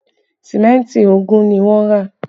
Símẹ́ntì ogún ni wọ́n rà